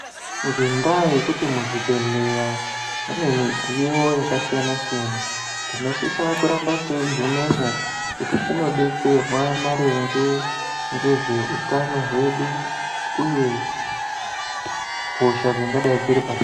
Ngendaa yekuti muzvibhedhleya mune mudziyo yakasiyana-siyana, tinosisa kuramba teigumewoo kuti tinodetserwa maringe ngeutano hwedu uye hosha dzingadai dziri pa...